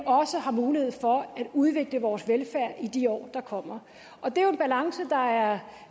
også har mulighed for at udvikle vores velfærd i de år der kommer det er jo en balance der er